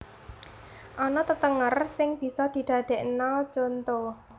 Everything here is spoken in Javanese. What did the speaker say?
Ana tetenger sing bisa didadekna contho